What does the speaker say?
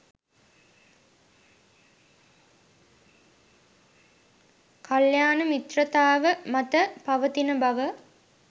කල්‍යාණ මිත්‍රතාව මත පවතින බව